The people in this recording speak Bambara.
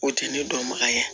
O tɛ ne dɔnbaga ye